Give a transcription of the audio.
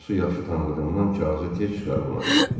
Atosu yaxşı tanıdığından kağızı tez çıxarıb ona verdi.